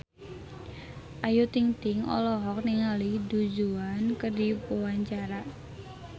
Ayu Ting-ting olohok ningali Du Juan keur diwawancara